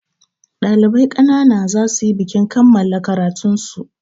Ɗalibai ƙanana za su yi bikin kammala karatun su.